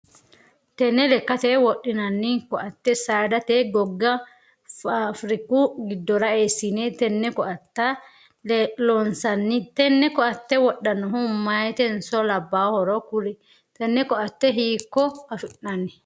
Tenne lekkate wodhinnanni koate saadate gogga faafiriku gidora eesinne tenne koate loonsoonni tenne koate wodhanohu mayitenso labaahoro kuli? Tenne koate hiikko afi'nanni?